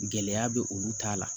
Gɛlɛya bɛ olu ta la